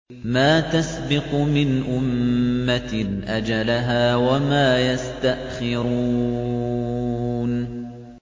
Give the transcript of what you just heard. مَا تَسْبِقُ مِنْ أُمَّةٍ أَجَلَهَا وَمَا يَسْتَأْخِرُونَ